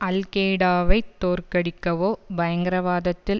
அல் கெய்டாவைத் தோற்கடிக்கவோ பயங்கரவாதத்தில்